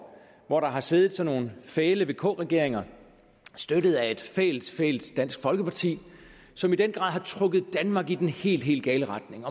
hvor der har siddet sådan fæle vk regeringer støttet af et fælt fælt dansk folkeparti som i den grad har trukket danmark i den helt gale retning